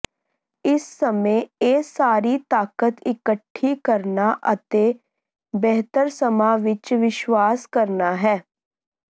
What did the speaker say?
ਇਸ ਸਮੇਂ ਇਹ ਸਾਰੀ ਤਾਕਤ ਇਕੱਠੀ ਕਰਨਾ ਅਤੇ ਬਿਹਤਰ ਸਮਾਂ ਵਿੱਚ ਵਿਸ਼ਵਾਸ ਕਰਨਾ ਹੈ